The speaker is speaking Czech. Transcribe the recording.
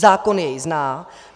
Zákon jej zná.